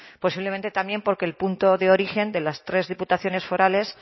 posiblemente también porque el punto de origen de las tres diputaciones forales